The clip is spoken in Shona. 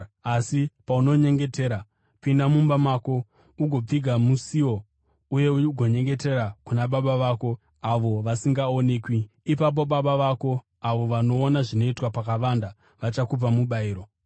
Asi paunonyengetera, pinda mumba mako, ugopfiga musiwo uye ugonyengetera kuna Baba vako avo vasingaonekwi. Ipapo Baba vako avo vanoona zvinoitwa pakavanda, vachakupa mubayiro.